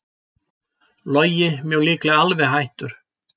Logi mjög líklega alveg hættur